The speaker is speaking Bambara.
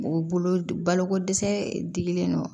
Mɔgɔ bolo baloko dɛsɛ dili don